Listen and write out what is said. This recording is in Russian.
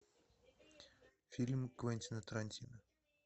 фильм квентина тарантино